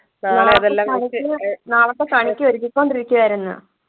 നാളത്തെ കണിക്ക് നാളത്തെ കണിക്ക് ഒരുക്കിക്കൊണ്ടിരിക്കുവായിരുന്നു